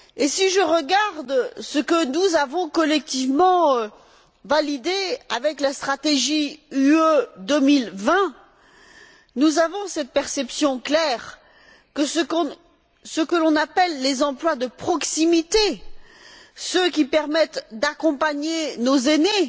Si je regarde ce que nous avons collectivement validé avec la stratégie Europe 2020, nous avons la perception claire que ce que l'on appelle les emplois de proximité, à savoir ceux qui permettent d'accompagner nos aînés,